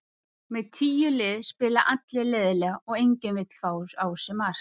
Með tíu lið spila allir leiðinlega og enginn vill fá á sig mark.